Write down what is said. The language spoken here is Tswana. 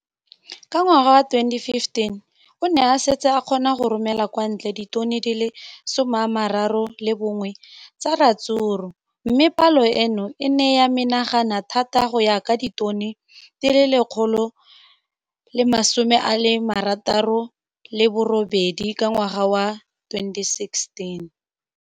Ka ngwaga wa 2015, o ne a setse a kgona go romela kwa ntle ditone di le 31 tsa ratsuru mme palo eno e ne ya menagana thata go ka nna ditone di le 168 ka ngwaga wa 2016.